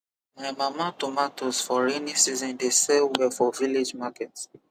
my mama tomatoes for rainy season dey sell well for village market